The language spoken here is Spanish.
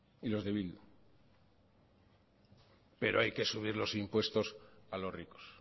y los de bildu pero hay que subir los impuestos a los ricos